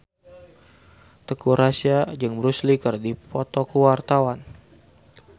Teuku Rassya jeung Bruce Lee keur dipoto ku wartawan